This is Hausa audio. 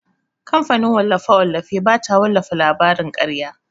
Kamfanin wallafe-wallafe bata wallafa labarin karya.